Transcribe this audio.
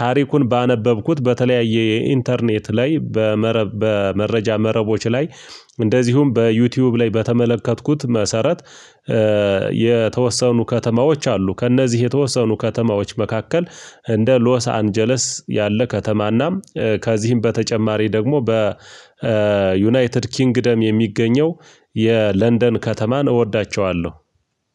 ታሪኩን ባነበብኩት በተለያየ የኢንተርኔት ላይ በመረብ በመረጃ መረቦች ላይ እንደዚሁም በዩቲዩብ ላይ በተመለከትኩት መሰረት የተወሰኑ ከተማዎች አሉ ከእነዚህ የተወሰኑ ከተማዎች መካከል እንደ ሎስ አንጀለስ ያለ ከተማና ከዚህም በተጨማሪ ደግሞ በዩናይትድ ኪንግደም የሚገኘው የለንደን ከተማን እወዳቸዋለሁ።